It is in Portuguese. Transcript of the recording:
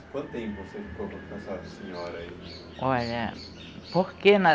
Quanto tempo você ficou com a professora senhora? Olha porque